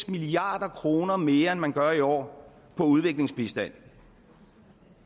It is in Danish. milliard kroner mere end man gør i år på udviklingsbistand